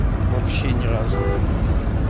вообще ни разу его не видел